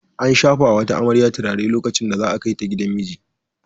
An shafa wa wata amarya turare lokacin da za a kai ta gidan miji.